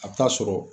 A bɛ taa sɔrɔ